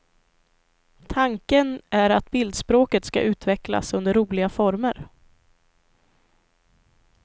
Tanken är att bildspråket ska utvecklas under roliga former.